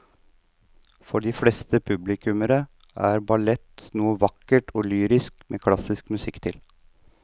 For de fleste publikummere er ballett noe vakkert og lyrisk med klassisk musikk til.